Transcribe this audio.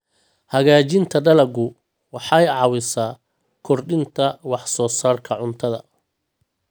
Hagaajinta dalaggu waxay caawisaa kordhinta wax soo saarka cuntada.